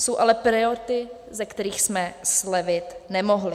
Jsou ale priority, ze kterých jsme slevit nemohli.